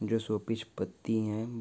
जो showpiece पत्ती हैं।